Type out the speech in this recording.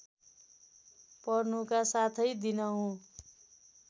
पर्नुका साथै दिनहुँ